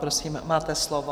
Prosím, máte slovo.